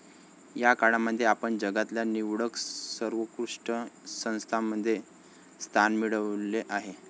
या काळामध्ये आपण जगातल्या निवडक सर्वोत्कृष्ट संस्थांमध्ये स्थान मिळवले आहे.